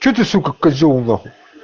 что ты с козел